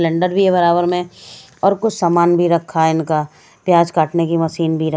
cylinder भी है बराबर में और कुछ सामान भी रखा है इनका प्याज काटने की मशीन भी रख--